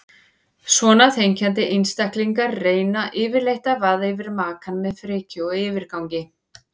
Svona þenkjandi einstaklingar reyna yfirleitt að vaða yfir makann með frekju og yfirgangi.